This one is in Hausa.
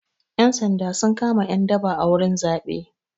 Ƴan sanda sun kama ƴan daba a wurin zaɓe.